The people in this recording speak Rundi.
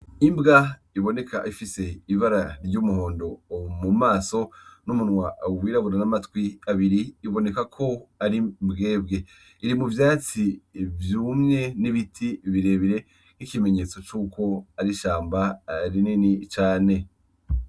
Imbwa iboneka ifise ibara ry' umuhondo mumaso n' umunwa wirabura n' amatwi abiri biboneka ko ari imbwebwe, iri muvyatsi vyumye n' ibiti birebire n' ikimenyetso cuko ari ishamba rinini cane.